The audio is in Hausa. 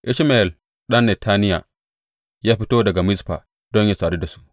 Ishmayel ɗan Netaniya ya fito daga Mizfa don yă sadu da su.